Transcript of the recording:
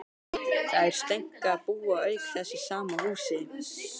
Þær Steinka búa auk þess í sama húsi.